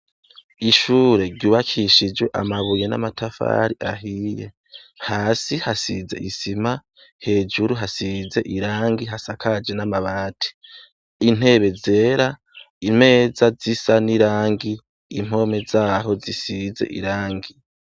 Ishure ryubakishije amabuye n'amatafari ahiye, hasi hasize isima, hejuru hasize irangi hasakaje n'amabati, intebe zera, imeza z'isa n'irangi impome zaho zisize irangi.